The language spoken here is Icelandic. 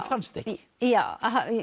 fannstu ekki já